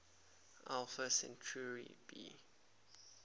alpha centauri b